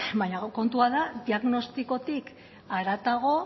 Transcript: baina kontua da diagnostikotik haratago